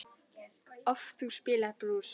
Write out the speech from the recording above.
oft þú spilar brús.